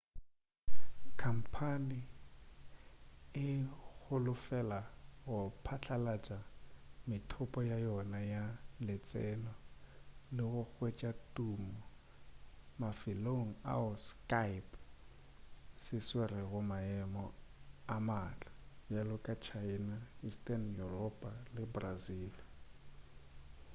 khampane e holofela go patlalatša methopo ya yona ya letseno le go hwetša tumo mafelong ao skype se tswerego maemo a matla bjalo ka china eastern yuropa le brazil